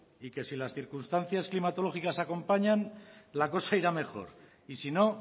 y que si las circunstancias climatológicas acompañan la cosa irá a mejor y si no